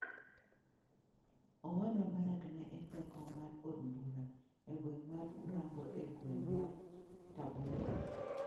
Owadwa Barack ne en jakom mar od bura e gweng ' mar Urambo e gweng ' mar Tabora.